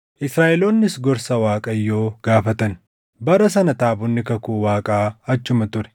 Israaʼeloonnis gorsa Waaqayyoo gaafatan. Bara sana taabonni kakuu Waaqaa achuma ture;